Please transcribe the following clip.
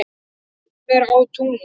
Hver á tunglið?